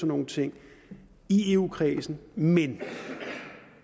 nogle ting i eu kredsen men